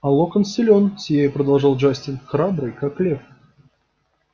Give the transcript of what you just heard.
а локонс силён сияя продолжал джастин храбрый как лев